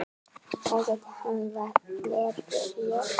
það gæti hafa verið ég